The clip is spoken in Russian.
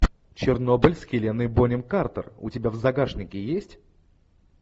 чернобыль с хеленой бонем картер у тебя в загашнике есть